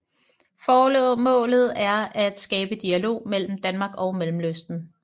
Formålet er at skabe dialog mellem Danmark og Mellemøsten